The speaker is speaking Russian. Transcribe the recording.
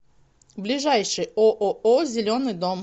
ближайший ооо зеленый дом